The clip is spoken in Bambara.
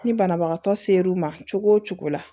Ni banabagatɔ ser'u ma cogo o cogo la